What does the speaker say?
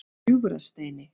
Gljúfrasteini